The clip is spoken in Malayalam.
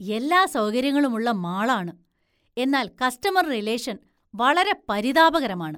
എല്ലാ സൗകര്യങ്ങളുമുള്ള മാളാണ്, എന്നാല്‍ കസ്റ്റമര്‍ റിലേഷന്‍ വളരെ പരിതാപകരമാണ്.